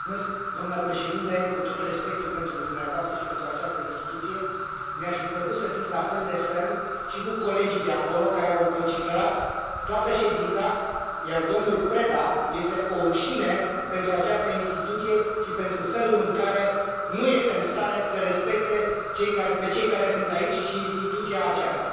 Domnule președinte, cu tot respectul pentru dumneavoastră și pentru această instituție, mi ar fi plăcut să fiți la fel de ferm și cu colegii de acolo, care au vociferat toată ședința, iar domnul Preda este o rușine pentru această instituție și pentru felul în care nu este în stare să îi respecte pe cei care sunt aici și instituția aceasta.